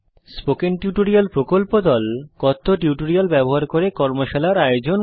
কথ্য টিউটোরিয়াল প্রকল্প দল কথ্য টিউটোরিয়াল ব্যবহার করে কর্মশালার আয়োজন করে